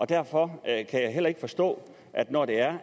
derfor kan jeg heller ikke forstå at når det er